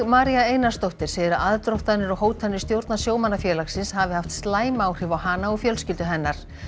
María Einarsdóttir segir að aðdróttanir og hótanir stjórnar sjómannafélagsins hafi haft slæm áhrif á hana og fjölskyldu hennar